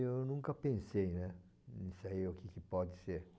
Eu nunca pensei, né? Nisso aí, o que que pode ser.